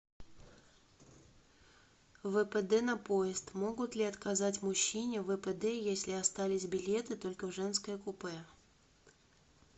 впд на поезд могут ли отказать мужчине в впд если остались билеты только в женское купе